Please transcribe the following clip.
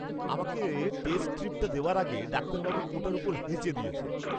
আমাকে টেস্ট স্ট্রিপটা দেওয়ার আগে, ডাক্তারবাবু ওটার ওপর হেঁচে দিয়েছেন!